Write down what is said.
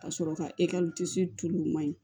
Ka sɔrɔ ka tulu ma ɲi